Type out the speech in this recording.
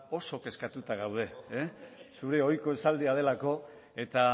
oso kezkatuta gaude zure ohiko esaldia delako eta